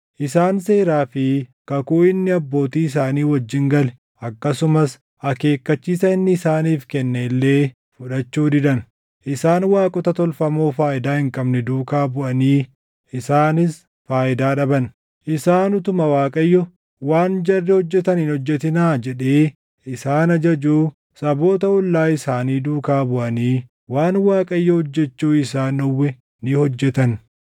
Isaan seeraa fi kakuu inni abbootii isaanii wajjin gale akkasumas akeekkachiisa inni isaaniif kenne illee fudhachuu didan. Isaan waaqota tolfamoo faayidaa hin qabne duukaa buʼanii isaanis faayidaa dhaban. Isaan utuma Waaqayyo, “Waan jarri hojjetan hin hojjetinaa” jedhee isaan ajajuu saboota ollaa isaanii duukaa buʼanii waan Waaqayyo hojjechuu isaan dhowwe ni hojjetan.